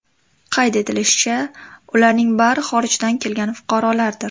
Qayd etilishicha, ularning bari xorijdan kelgan fuqarolardir.